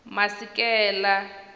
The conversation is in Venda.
masikela